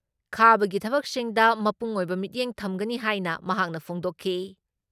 ꯈꯥꯕꯒꯤ ꯊꯕꯛꯁꯤꯡꯗ ꯃꯄꯨꯡꯑꯣꯏꯕ ꯃꯤꯠꯌꯦꯡ ꯊꯝꯒꯅꯤ ꯍꯥꯏꯅ ꯃꯍꯥꯛꯅ ꯐꯣꯡꯗꯣꯛꯈꯤ ꯫